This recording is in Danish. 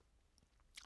DR K